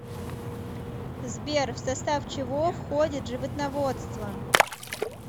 сбер в состав чего входит животноводство